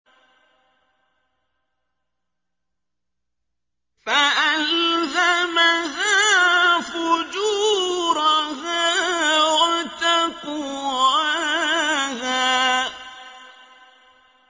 فَأَلْهَمَهَا فُجُورَهَا وَتَقْوَاهَا